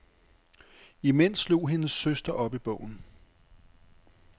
Imens slog hendes søster op i bogen.